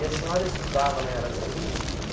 E a senhora estudava lá em Araçatuba?